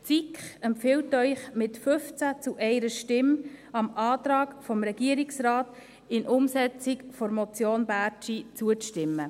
Die SiK empfiehlt Ihnen mit 15 Stimmen zu 1 Stimme, dem Antrag des Regierungsrates in Umsetzung der Motion Bärtschi zuzustimmen.